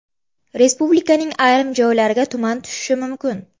Respublikaning ayrim joylariga tuman tushishi mumkin.